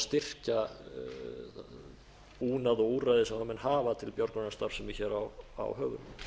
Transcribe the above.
styrkja búnað og úrræði sem menn hafa til björgunarstarfsemi hér á höfunum